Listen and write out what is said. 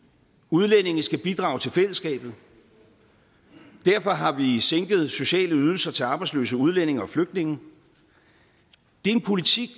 udlændinge skal bidrage til fællesskabet derfor har vi sænket sociale ydelser til arbejdsløse udlændinge og flygtninge det er en politik